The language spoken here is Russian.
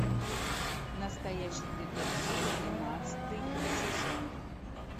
настоящий детектив одиннадцатый сезон